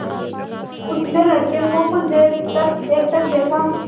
उसने लड़के को कुछ देर तक एकटक देखा